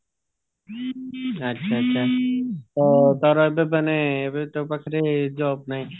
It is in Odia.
ଆଚ୍ଛା ଆଚ୍ଛା ତ ତାର ଏବେ ତୋ ପାଖରେ job ନାହିଁ